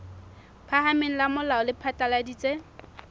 phahameng la molao le phatlaladitse